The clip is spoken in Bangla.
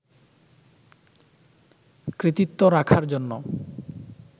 কৃতিত্ব রাখার জন্য